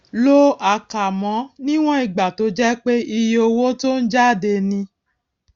lo àkámọ níwòn ìgbà tó jẹ pé iye owó tó ń jáde ni